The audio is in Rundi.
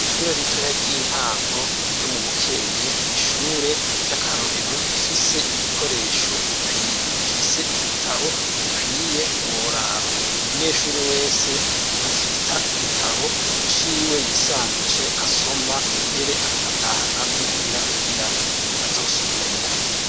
ishure ritoya ry'intango ryo mu bukeyi n'ishure ry'akarorero rifise ibikoresho bikwiye rifise ibitabo bikwiye ntiworaba umunyeshuri wese afita igitabo ciwe yisangije asoma mbere akanatahana n'imuhira kugira azosubiremo